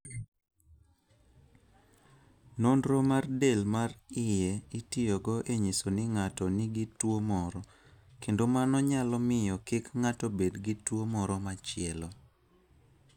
Nonro mar del mar iye itiyogo e nyiso ni ng'ato nigi tuwo moro, kendo mano nyalo miyo kik ng'ato bed gi tuo moro machielo.